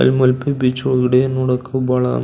ಅಲ್ಲೇ ಮಲ್ಪೆ ಬೀಚ್ ಒಳಗಡೆ ನೋಡಕ್ಕು ಬಹಳ --